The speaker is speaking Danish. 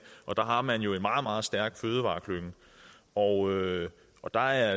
og der har man jo en meget meget stærkt fødevareklynge og og der er